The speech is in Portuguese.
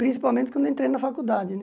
Principalmente quando entrei na faculdade, né?